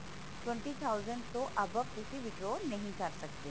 twenty thousand ਤੋ above ਤੁਸੀ withdraw ਨਹੀਂ ਕਰ ਸਕਦੇ ਹੋ